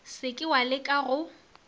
se ke wa leka go